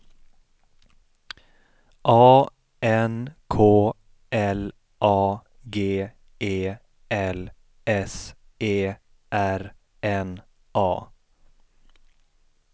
A N K L A G E L S E R N A